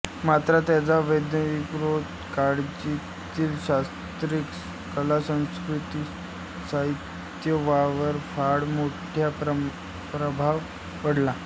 मात्र त्यांचा वैदिकोत्तर काळातील शास्त्रे कलासंस्कृतीसाहित्य यांवर फार मोठा प्रभाव पडला